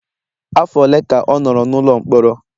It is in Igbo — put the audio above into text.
Afọ ole ka ọ nọrọ n'ụlọ mkpọrọ?